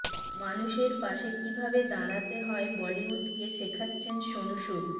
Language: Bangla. মানুষের পাশে কী ভাবে দাঁড়াতে হয় বলিউডকে শেখাচ্ছেন সোনু সুদ